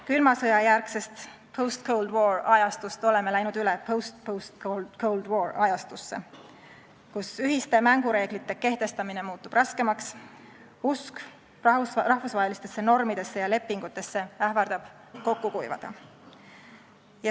Külma sõja järgsest, post-cold-war-ajastust oleme läinud üle post-post-cold-war-ajastusse, kus ühiste mängureeglite kehtestamine muutub raskemaks ning usk rahvusvahelistesse normidesse ja lepingutesse ähvardab kokku kuivada.